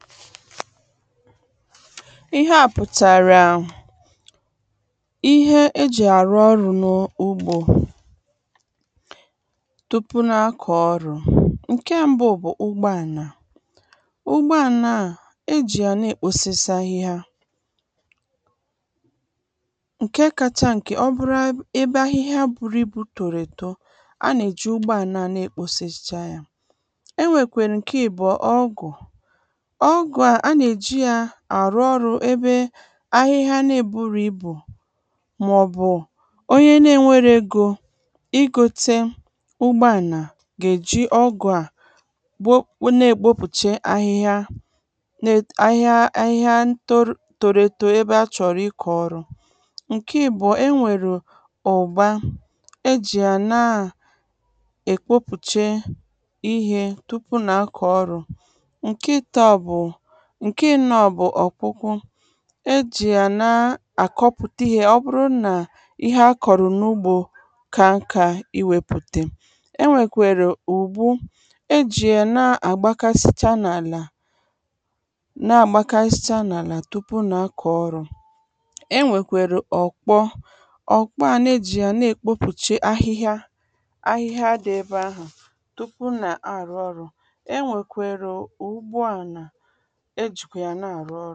ihe a pùtàrà ihe e jị àrụ ọrụ n’ugbō tupu na-akọ ọrụ ǹkẹ m̀bu bu ụgbọànà ụgbọànà à e jị ya na èkposisi ahịhia ǹke kacha ǹke ọ bụrụ ebe ahịhịa buru ịbụ̄ tòrò èto anà e ji ụgbọàlà na e kposisicha yā e nwèkwè ǹke àbuo ọgụ̀ ọgu à nà e jị yā àrụ ọrụ ebe ahịhịa na-eburō ibù mà ọ bù onyẹ na enwẹrọ egō ị ghotẹ ụgbọànà gà-ej̀i ọgụ a bụ na èkpopuche ahịhịa ahịhịa.. ahịhịa toru toro eto ebe a chọ̀rọ̀ ịkọ̀ ọrụ ǹke àbuo ẹ nwèrè ùgba e jị yà na e kwopùche ihē tupu na-akọ̀ ọrụ̄ ǹkẹ ìto bù ǹkẹ ànọ bu ọ̀kụkụ e jị̀ yà na àkọpụ̀ta ihē ọ bụrụ nà ihe a kọ̀rọ̀ n’ugbō ka aka ịwèpùtè e nwèkwèrè ụ̀bụ e jị ye na-àgbakasịcha n’àlà na-àgbakasịcha n’àlà tupù nā-akọ ọrụ̄ ẹ nwèkwèrè ọkpọ ọkpọ à na-eji yà na-ekpopuche ahịhịa dị ebe ahụ̀ tupu à na-àrụ ọrụ ẹ nwèkwèrè ugwu ànà e jìkwè yà na-àrụ ọrụ